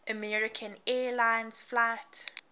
american airlines flight